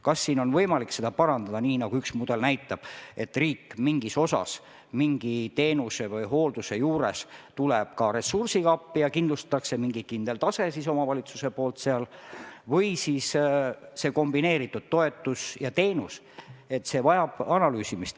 Kas siin on võimalik seda parandada nii, nagu üks mudel näitab, et riik tuleb mingis osas teenuse või hoolduse juures ka ressursiga appi ja kindlustatakse mingi kindel tase omavalitsuses või on kombineeritud toetus ja teenus – see kõik vajab analüüsimist.